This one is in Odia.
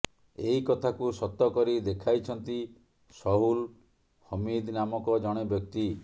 ଏହି କଥାକୁ ସତ କରି ଦେଖାଇଛନ୍ତି ସହୁଲ ହମୀଦ ନାମକ ଜଣେ ବ୍ୟକ୍ତି